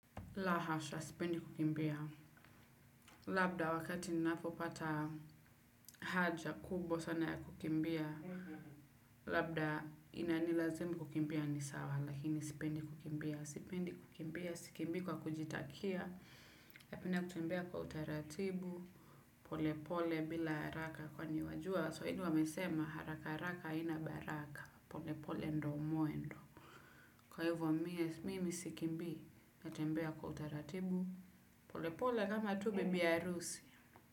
La hasha, sipendi kukimbia. Labda wakati ninapopata haja kubwa sana ya kukimbia. Labda inanilazimu kukimbia ni sawa, lakini sipendi kukimbia. Sipendi kukimbia, sikimbii kwa kujitakia. Napenda kutembea kwa utaratibu, polepole bila haraka. Kwani wajua, waswahili wamesema haraka haraka haina baraka. Polepole ndo mwendo. Kwa hivo mimi sikimbii, natembea kwa utaratibu. Polepole kama tu bibi harusi.